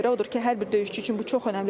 Odur ki, hər bir döyüşçü üçün bu çox önəmlidir.